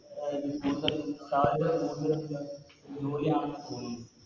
ആ ജോലിയാണെന്ന് തോന്നുന്നു